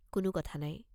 কোনো কথা নাই।